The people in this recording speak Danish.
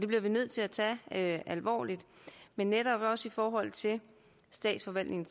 bliver vi nødt til at tage alvorligt men netop også i forhold til statsforvaltningen